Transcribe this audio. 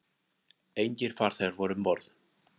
Engir farþegar voru um borð